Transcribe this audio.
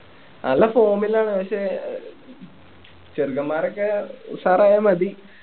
നല്ല form ലാണ് പക്ഷേ അഹ് ചെറുക്കൻമാരൊക്കെ ഉഷാറായ മതി